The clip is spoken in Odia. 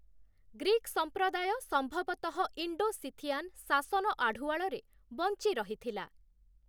ଗ୍ରୀକ ସମ୍ପ୍ରଦାୟ ସମ୍ଭବତଃ ଇଣ୍ଡୋ-ସିଥିଆନ୍‌ ଶାସନ ଆଢ଼ୁଆଳରେ ବଞ୍ଚି ରହିଥିଲା ।